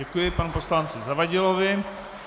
Děkuji panu poslanci Zavadilovi.